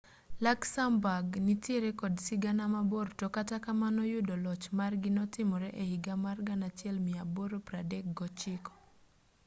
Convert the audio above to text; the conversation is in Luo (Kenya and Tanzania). luxembourg nitiere kod sigana mabor to kata kamano yudo loch margi notimore e higa mar 1839